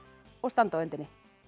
og standa á öndinni